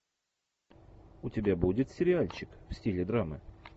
у тебя будет сериальчик в стиле драмы